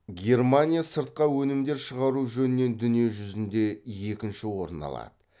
германия сыртқа өнімдер шығару жөнінен дүние жүзінде екінші орын алады